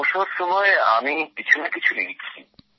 অবসর সময় আমি কিছু না কিছু লিখি